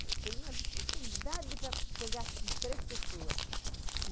Foi uma dificuldade para pegar três pessoas.